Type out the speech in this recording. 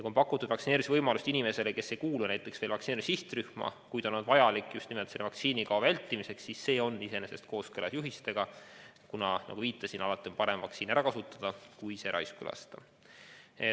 Kui on pakutud vaktsineerimise võimalust inimesele, kes ei kuulu vaktsineerimise sihtrühma, kuid see on vajalik just nimelt vaktsiinikao vältimiseks, siis see ongi iseenesest juhistega kooskõlas, kuna, nagu ma viitasin, alati on parem vaktsiin ära kasutada, kui see raisku lasta.